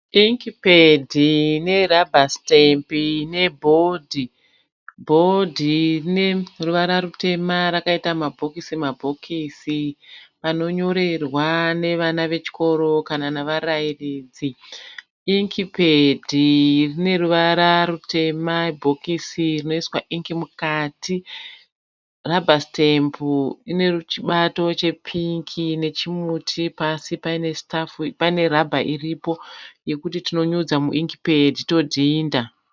Ink pad, ne rubber stamp ne board. Board rine ruvara rutema rakaita ma bhokisi mabhokisi panonyorerwa nevana vechikoro kana nava rairidzi. Ink pad rine ruvara rutema ibhokisi rinoiswa Ink mukati. Rubber stamp ine chibato che pingi nechimuti pasi paine rubber iripo yekuti tinonyudza mu ink pad todhinda.